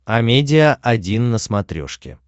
амедиа один на смотрешке